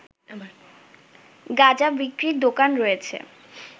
গাঁজা বিক্রির দোকান রয়েছে